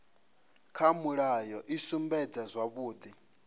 kha mulayo i sumbedza zwavhudi